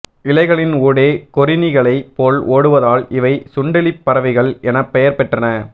இலைகளின் ஊடே கொறிணிகளைப் போல் ஓடுவதால் இவை சுண்டெலிப் பறவைகள் எனப் பெயர் பெற்றன